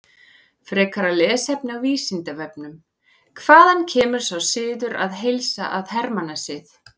Frekara lesefni á Vísindavefnum: Hvaðan kemur sá siður að heilsa að hermannasið?